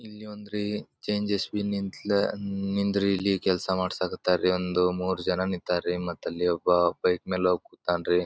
ಇಲ್ಲಿ ಒಂದು ಚೇಂಜ್ ಸ್ ಬಿ ನಿಂದ್ರಿ ಕೆಲಸ ಮಾಡ್ಸಕ್ ಹತ್ತರಿ ಒಂದ್ ಮೂರ್ ಜನ ನಿಂತಾರಿ ಮತ್ತೆ ಒಬ್ಬ ಪೈಪ್ ಮೇಲ ಹೋಗ್ ಕೂತಾನ್ರಿ.